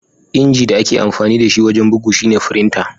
Inji da ake amfani da shi wajen bugu shine "frinta."